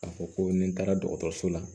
K'a fɔ ko ni n taara dɔgɔtɔrɔso la